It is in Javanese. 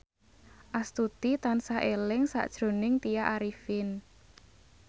Astuti tansah eling sakjroning Tya Arifin